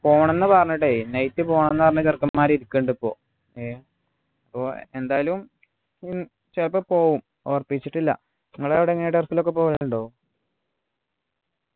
പോണം ന്നു പറഞ്ഞിട്ടേ night പോകാൻ പറഞ്ഞിട്ട് ചെറുക്കന്മാര് ഇരിക്ക്ണ് ണ്ട് പ്പോ ഏർ പ്പോ എന്തായാലും ഇൻ ചെലപ്പോ പോകും ഉറപ്പിച്ചിട്ടില്ല നിങ്ങള് എവിടെ എങ്കിലും turf ലൊക്കെ പോകലുണ്ടോ